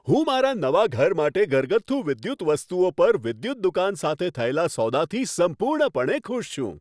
હું મારા નવા ઘર માટે ઘરગથ્થુ વિદ્યુત વસ્તુઓ પર વિદ્યુત દુકાન સાથે થયેલા સોદાથી સંપૂર્ણપણે ખુશ છું.